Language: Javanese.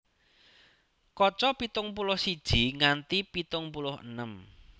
Kaca pitung puluh siji nganti pitung puluh enem